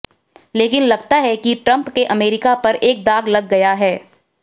लेकिन लगता है कि ट्रम्प के अमेरिका पर एक दाग लग गया है